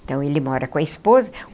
Então, ele mora com a esposa.